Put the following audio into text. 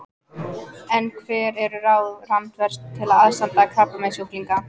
En hver eru ráð Randvers til aðstandanda krabbameinssjúklinga?